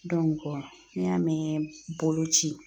n'i y'a mɛn boloci